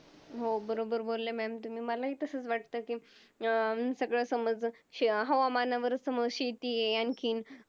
हो बरोबर बोल्ले Mam तुम्ही मलाही तसच वाटत कि अं सगळं समज हवामानवरच शेती आणखीन